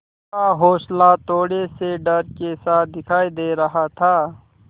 का हौंसला थोड़े से डर के साथ दिखाई दे रहा था